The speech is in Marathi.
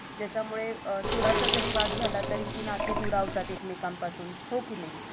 ज्याच्यामळे थोडासा जरी वाद झाला तरी ती नाती दुरावतात एकमेकांपासून हो कि नई?